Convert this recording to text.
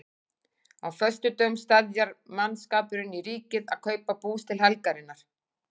Á föstudögum steðjar mannskapurinn í Ríkið að kaupa bús til helgarinnar.